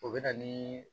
O bɛ na ni